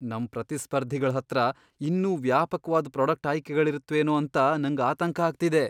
ನಮ್ ಪ್ರತಿಸ್ಪರ್ಧಿಗಳ್ ಹತ್ರ ಇನ್ನೂ ವ್ಯಾಪಕ್ವಾದ್ ಪ್ರಾಡಕ್ಟ್ ಆಯ್ಕೆಗಳಿರತ್ವೇನೋ ಅಂತ ನಂಗ್ ಆತಂಕ ಆಗ್ತಿದೆ.